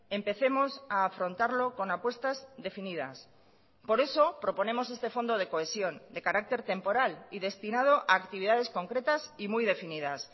empecemos a afrontarlo con apuestas definidas por eso proponemos este fondo de cohesión de carácter temporal y destinado a actividades concretas y muy definidas